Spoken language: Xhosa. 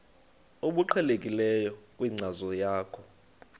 obuqhelekileyo kwinkcazo yakho